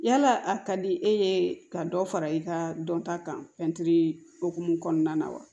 Yala a ka di e ye ka dɔ fara i ka dɔnta kan fɛn okumu kɔnɔna na wa